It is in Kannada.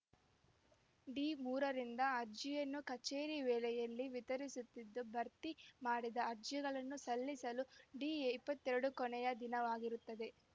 ಡಿ ಮೂರರಿಂದ ಅರ್ಜಿಯನ್ನು ಕಚೇರಿ ವೇಳೆಯಲ್ಲಿ ವಿತರಿಸುತ್ತಿದ್ದು ಭರ್ತಿ ಮಾಡಿದ ಅರ್ಜಿಗಳನ್ನು ಸಲ್ಲಿಸಲು ಡಿ ಇಪ್ಪತ್ತೆರಡು ಕೊನೆಯ ದಿನವಾಗಿರುತ್ತದೆ